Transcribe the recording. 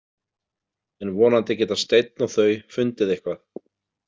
En vonandi geta Steinn og þau fundið eitthvað.